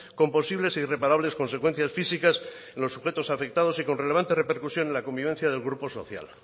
con posibles e irreparables consecuencias físicas en los sujetos afectados y con relevante repercusión en la convivencia del grupo social